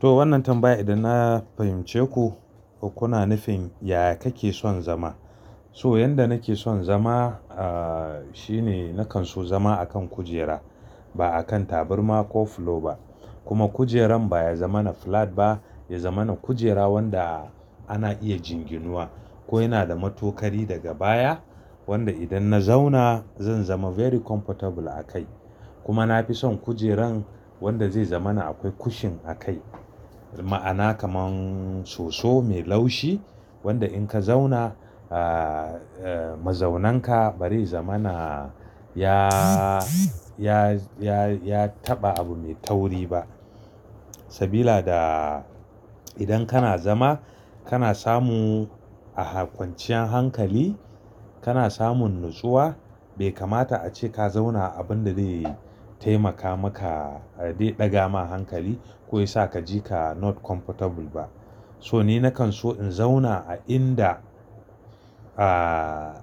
To wannan tambaya idan na fahimce ku, ku na nufin ya kake son zama? So yanda nake son zama, ah, shine nakan so zama akan kujera ba akan taburma ko fulo ba. Kuma kujeran baya zama na flat ba, ya zama na kujera wanda ana iya jinginuwa. Ko yana da matokari daga baya wanda idan na zauna zan zama very comfortable a kai. Kuma na fi son kujeran wanda zai zama na akwai cushion a kai. Ma'ana kaman soso mai laushi wanda in ka zauna, ah, mazaunanka bari zama na ya, ya, ya, ya taɓa abu mai tauri ba. Sabila da idan kana zama kana samu a kwanciyan hankali, kana samun natsuwa bai kamata a ce ka zauna a abunda zai taimaka maka ɗaga ma hankali ko yasa ka ji ka not comfortable ba. So ni nakan so in zauna a inda, ah,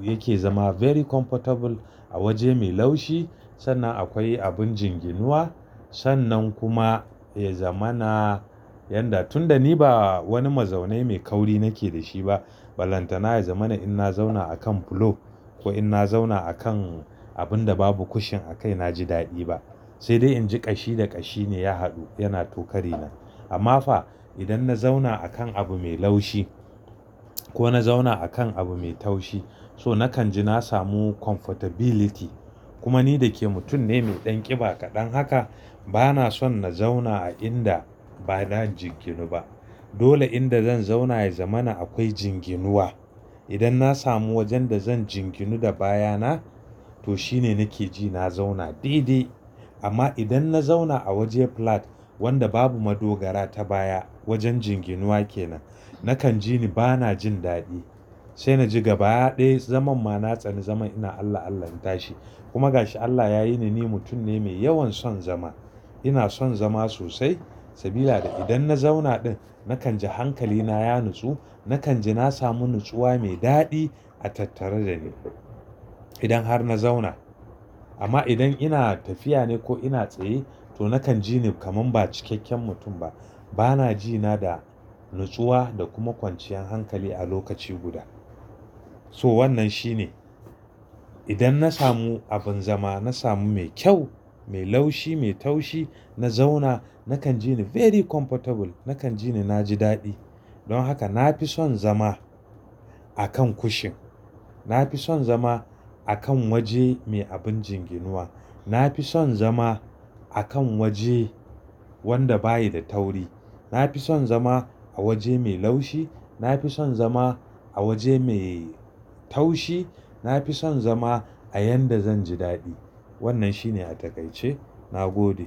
yake zama very comfortable a waje mai laushi sannan akwai abin jinginuwa. Sannan kuma ya zama na yanda tunda ni ba wani mazaune mai kauri nake da shi ba. Balanta na ya zama na idan na zauna akan fulo ko in ina zauna akan abunda babu cushion a kai na ji daɗi ba. Sai dai in ji ƙashi da ƙashi ne ya haɗu yana tokari na. Amma fa idan na zauna akan abu mai laushi ko na zauna akan abu mai taushi so nakan ji na samu comfortability. Kuma ni da ke mutum ne mai ɗanƙiba kaɗan haka bana son na zauna a inda ba na jinginu ba. Dole inda zan zauna ya zama na akwai jinginuwa. Idan na samu wajenda zan jinginu da baya na to shine nake ji na zauna didi. Amma idan na zauna a waje flat wanda babu madogara ta baya wajen jinginuwa kenan, nakan ji ni bana jin daɗi. Sai na ji gaba ɗaya zaman ma na tsani zaman ina Allah Allahin tashi. Kuma gashi Allah yayi ni, ni mutum ne mai yawan son zama. Ina son zama sosai. Sabila da idan na zauna ɗin nakan ji hankali na ya natsu. Nakan ji na samu natsuwa mai daɗi a tattare da ni idan har na zauna. Amma idan ina tafiya ne ko ina tsaye to nakan ji ni kaman ba cikakken mutum ba. Bana ji na da natsuwa da kuma kwanciyan hankali a lokaci guda. So wannan shine. Idan na samu abin zama na samu mai kyau, mai laushi, mai taushi. Na zauna nakan ji ni very comfortable, nakan ji ni na ji daɗi. Don haka na fi son zama akan cushion. Na fi son zama akan waje mai abin jinginuwa. Na fi son zama akan waje wanda bayi da tauri. Na fi son zama a waje mai laushi. Na fi son zama a waje mai taushi. Na fi son zama a yanda zan ji daɗi. Wannan shine a takaice. Na gode.